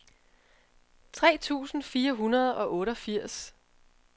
tre tusind fire hundrede og otteogfirs